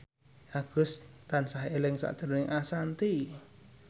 Agus tansah eling sakjroning Ashanti